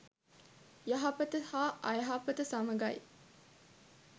යහපත හා අයහපත සමඟයි.